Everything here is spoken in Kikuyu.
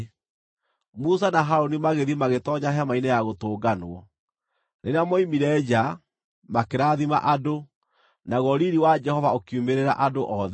Musa na Harũni magĩthiĩ magĩtoonya Hema-inĩ-ya-Gũtũnganwo. Rĩrĩa moimire nja, makĩrathima andũ; naguo riiri wa Jehova ũkiumĩrĩra andũ othe.